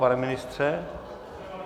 Pane ministře?